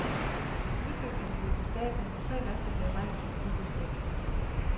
Nybygningen løb af stablen, og tre master blev rejst fra skibets dæk.